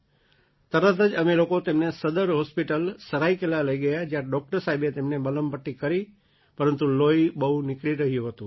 તરત જ અમે લોકો તેમને સદર હૉસ્પિટલ સરાઈકેલા લઈ ગયા જ્યાં ડૉક્ટર સાહેબે તેમને મલમ પટ્ટી કરી પરંતુ લોહી બહુ નીકળી રહ્યું હતું